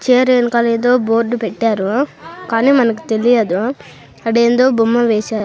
Chair వెనకాలా ఏధో board పెట్టారు కానీ మనకు తెలియదు ఆడ ఏందో బొమ్మ వేసారు.